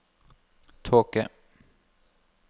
tåke